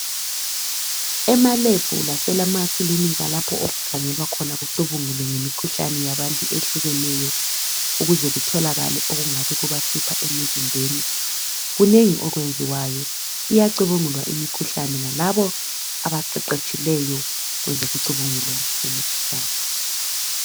Ema lab lasemakilinika lapho okukhangelwa khona kucubungulwe imikhuhlane yabantu ehlukeneyo ukuze kutholakale okungabe kubahlupha emizimbeni kunengi okuyenziwayo iyacubungulwa imikhuhlane yilabo abaqeqetshileyo kwezekucubungula